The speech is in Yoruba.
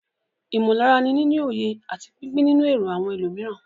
Ìmọ̀lára ni níní òye àti pípín nínú èrò àwọn ẹlòmíràn.